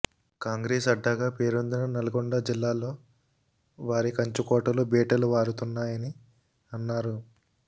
కాంగ్రెస్ అడ్డాగా పేరొందిన నల్గొండ జిల్లాలో వారి కంచుకోటలు బీటలు వారుతున్నాయని అన్నారు